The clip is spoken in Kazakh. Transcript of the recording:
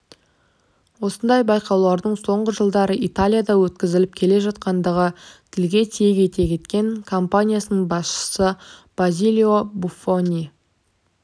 осындай байқаулардың соңғы жылдары италияда өткізіліп келе жатқандығын тілге тиек ете кеткен компаниясының басшысы базилио буффони